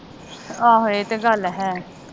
ਆਹ ਇਹ ਤੇ ਗੱਲ ਹੈ